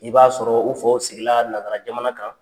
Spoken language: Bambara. I b'a sɔrɔ u faw sigi la nasara jamana kan.